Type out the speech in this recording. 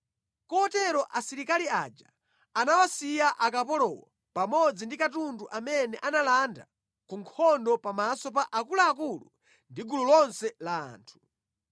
Kotero asilikali aja anawasiya akapolowo pamodzi ndi katundu amene analanda ku nkhondo pamaso pa akuluakulu ndi gulu lonse la anthu.